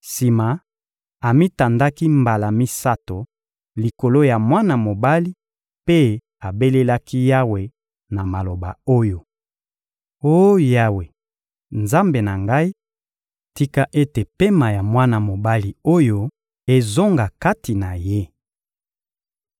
Sima, amitandaki mbala misato likolo ya mwana mobali mpe abelelaki Yawe na maloba oyo: — Oh Yawe, Nzambe na ngai, tika ete pema ya mwana mobali oyo ezonga kati na ye.